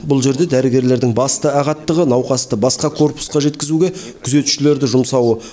бұл жерде дәрігерлердің басты ағаттығы науқасты басқа корпусқа жеткізуге күзетшілерді жұмсауы